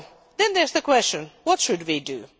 Then comes the question what should we do?